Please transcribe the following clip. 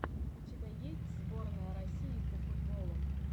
у тебя есть сборная россии по футболу